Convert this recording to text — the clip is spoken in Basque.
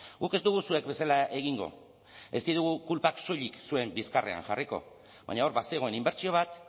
guk ez dugu zuek bezala egingo ez ditugu kulpak soilik zuen bizkarrean jarriko baina hor bazegoen inbertsio bat